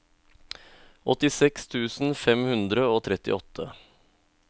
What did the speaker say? åttiseks tusen fem hundre og trettiåtte